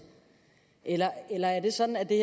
eller eller er det sådan at det